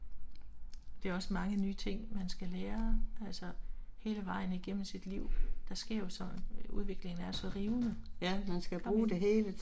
Det er også mange nye ting man skal lære altså hele vejen igennem sit liv. Der sker jo så udviklingen er så rivende. Kom ind